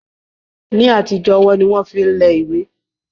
Ní àtijọ́ ọwọ́ ni wọ́n máa ń fi lẹ ìwé